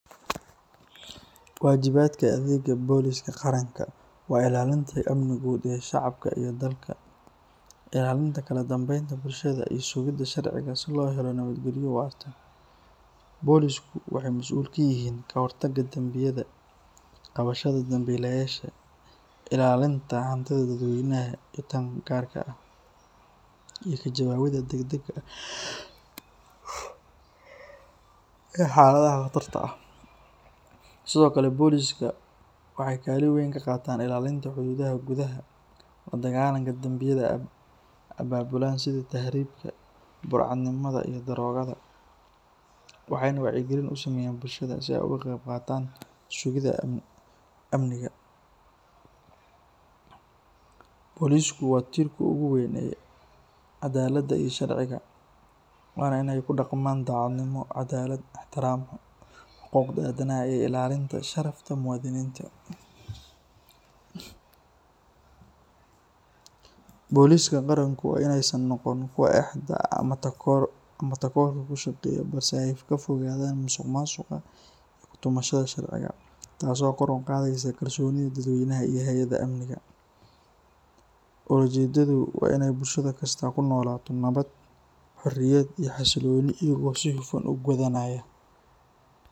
Wajibadka adega boliska qaranka, waa inalinta amnigu iyo shacabka iyo dalka ilalinta kaladambeynta bulshada iyo sugida sharciga sii loo helo nabad geliyo, bolisku waxay masul kayihin kahortaga dambiyada, qabashada dambilayasha, ilalinta hantidha dad weynaha iyo tan garka ah iyo kajawawida deg dega ah iyo xaladaha qatarta ah sidiokale boliska waxay kalin weyn kaqatan ilalinta hoyadaha gudaha ladagalanka dambiyada, ababulaha sidha taribka burcad nimada iyo darogada waxay nah wacyo galin usameyan bulshada sii aay oga qeb qatan sugida amniga , boliska waa tirka ogu weyn cadalada iyo sharciga wana inay kudaqnan cadalad, dacadnimo, ixtiram, xaquqda adanaha iyo ilalinta sharafta muwadininta , boliska daranku inay san noqonin kuwa exda ama takorka kushaqeyah balse aay kafogadan masuq masuq iyo kutumashada sharciga, tasi oo kor uqadeyso kalsonida dad weynaha iyo hayadaha amniga, olajedadu waa inay bulsha kista aay kunolato nabad, xasiloni iyo xoriyad iyago sii hufan ugudanaya.